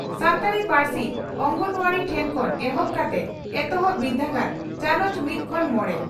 ᱥᱟᱱᱛᱟᱲᱤ ᱯᱟᱹᱨᱥᱤ ᱚᱝᱜᱚᱱᱣᱟᱰᱤ ᱴᱷᱮᱱ ᱠᱷᱚᱱ ᱮᱦᱚᱵ ᱠᱟᱛᱮ ᱮᱛᱚᱦᱚᱵ ᱵᱤᱨᱫᱟᱹᱜᱟᱲ (ᱪᱟᱱᱚᱪ ᱢᱤᱛ ᱠᱷᱚᱱ ᱢᱚᱲᱮ )